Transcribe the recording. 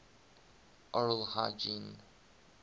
oral hygiene